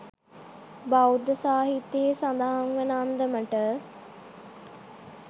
බෞද්ධ සාහිත්‍යයෙහි සඳහන් වන අන්දමට